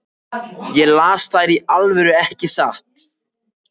Ég las þær í alvöru, ekki satt?